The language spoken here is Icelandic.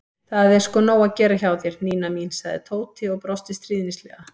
Það er sko nóg að gera hjá þér, Nína mín sagði Tóti og brosti stríðnislega.